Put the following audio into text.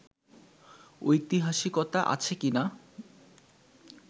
ঐতিহাসিকতা আছে কি না